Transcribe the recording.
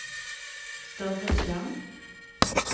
større skjerm